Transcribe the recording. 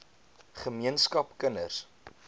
ge meenskap kinders